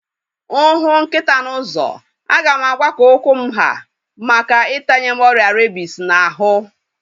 Mụ hụ nkịta n'ụzọ, a ga m agba ka ụkwụ m ha maka itanye m ọrịa rabies n'ahu